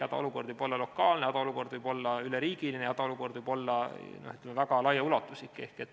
Hädaolukord võib olla lokaalne, hädaolukord võib olla üleriigiline, hädaolukord võib olla väga laiaulatuslik.